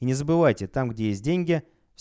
и не забывайте там где есть деньги